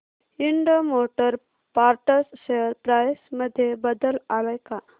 Ind motor parts share price मध्ये बदल आलाय का